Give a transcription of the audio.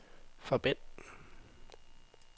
forbind